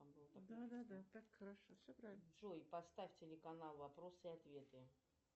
джой поставь телеканал вопросы и ответы